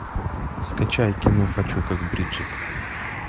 скачай кино хочу как бриджит